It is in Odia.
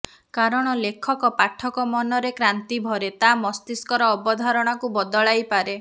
କାରଣ ଲେଖକ ପାଠକ ମନରେ କ୍ରାନ୍ତି ଭରେ ତା ମସ୍ତିଷ୍କର ଅବଧାରଣାକୁ ବଦଳାଇ ପାରେ